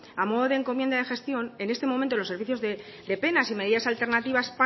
a modo de encomienda de gestión en este momento los servicios de penas y medidas alternativas